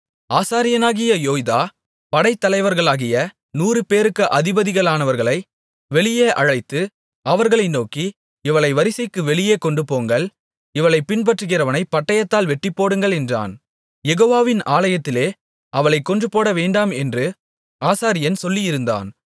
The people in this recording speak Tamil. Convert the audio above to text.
ஆசாரியனாகிய யோய்தா படைத்தலைவர்களாகிய நூறுபேருக்கு அதிபதிகளானவர்களை வெளியே அழைத்து அவர்களை நோக்கி இவளை வரிசைக்கு வெளியே கொண்டுபோங்கள் இவளைப் பின்பற்றுகிறவனைப் பட்டயத்தால் வெட்டிப்போடுங்கள் என்றான் யெகோவாவின் ஆலயத்திலே அவளைக் கொன்றுபோடவேண்டாம் என்று ஆசாரியன் சொல்லியிருந்தான்